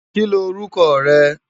Ki l órúkò re?